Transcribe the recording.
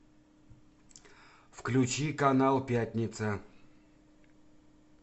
включи канал пятница